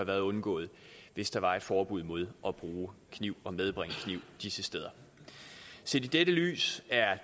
være undgået hvis der var et forbud mod at bruge kniv og medbringe kniv disse steder set i dette lys er